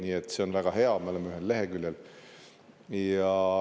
Nii et see on väga hea, me oleme ühel leheküljel.